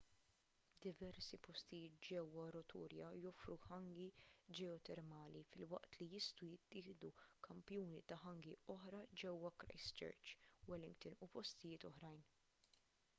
diversi postijiet ġewwa rotorua joffru hangi ġeotermali filwaqt li jistgħu jittieħdu kampjuni ta' hangi oħra ġewwa christchurch wellington u postijiet oħrajn